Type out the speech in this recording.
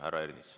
Härra Ernits.